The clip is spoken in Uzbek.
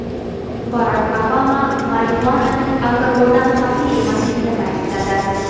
Barak Obama marixuananing alkogoldan xavfli emasligini ta’kidladi.